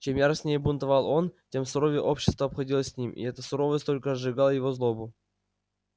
чем яростнее бунтовал он тем суровее общество обходилось с ним и эта суровость только разжигала его злобу